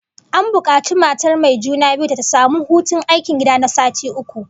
An bukaci matar mai juna biyu da ta samu hutun aikin gida na sati uku